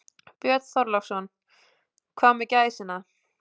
Björn Þorláksson: Hvað með gæsina?